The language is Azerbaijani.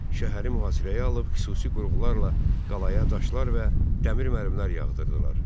Şəhəri mühasirəyə alıb xüsusi qurğularla qalaya daşlar və dəmir mərmilər yağdırdılar.